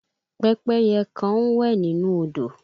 Pẹ́pẹ́yẹ kan ń wẹ̀ nínú odò